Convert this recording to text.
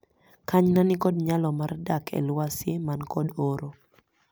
Kanyna nikod nyalo mar dak e lwasi man kod oro.